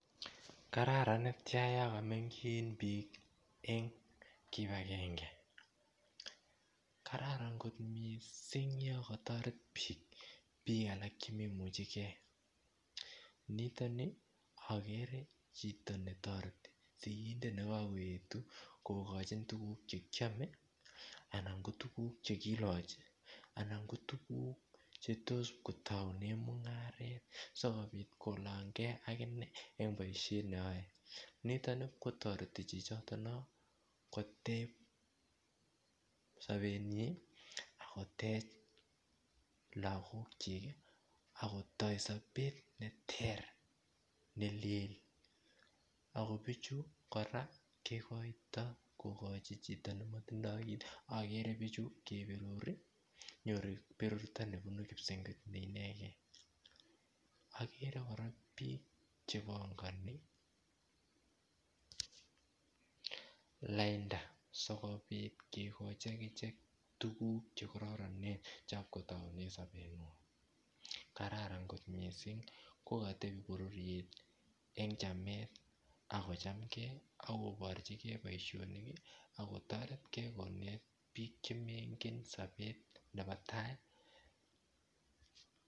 Kararan netyan yo kameng'chin biik eng' kipagenge kararan kot mising' yo katoret biik biik alak chememuchigei nitoni agere chito netoreti sikindet nekakoetu kokochin tukuk chekiome anan ko tukuk chekilochi anan ko tukuk chetos kotoune mung'aret sikobit kolongei akine eng' boishet neoe nitoni pkotoreti chichito no kotech sobenyi akotech lakokchik akotoi sobet ne ter nelel ako bichu kora kekoito kokochi chito nematindoi kiit agere bichu keperuri nyoru berurto nebunu kipsengwet ne inegei agere kora biik chepongoni lainda sikobit kikochin akichek tukuk chekororonen chenyikotoune sobeng'wai kararan kot mising' ko katebi bororiet eng' chamet ako chamgei akoborchigei boishonik akotoretkei konet biik chemengen sobet nebo tai